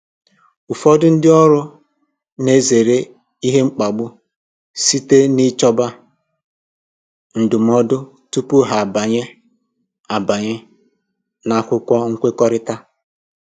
Ụfọdụ ndị ọrụ na-ezere ihe mkpagbu site n'ichọba ndụmọdụ tupu ha abanye abanye n’akwụkwọ nkwekọrịta.